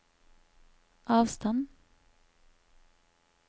avstand